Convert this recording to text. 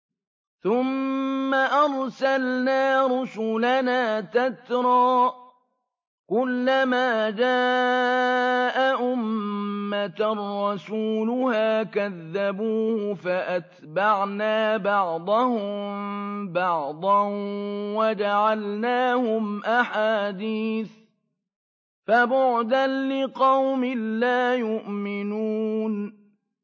ثُمَّ أَرْسَلْنَا رُسُلَنَا تَتْرَىٰ ۖ كُلَّ مَا جَاءَ أُمَّةً رَّسُولُهَا كَذَّبُوهُ ۚ فَأَتْبَعْنَا بَعْضَهُم بَعْضًا وَجَعَلْنَاهُمْ أَحَادِيثَ ۚ فَبُعْدًا لِّقَوْمٍ لَّا يُؤْمِنُونَ